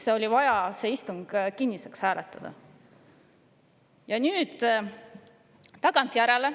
Miks oli vaja see istung kinniseks hääletada?